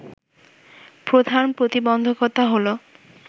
প্রধান প্রতিবন্ধকতা হলো